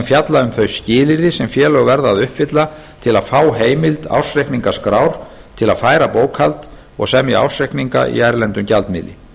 fjallar um þau skilyrði sem félög verða að uppfylla til að fá heimild ársreikningaskrár til að færa bókhald og semja ársreikninga í erlendum gjaldmiðli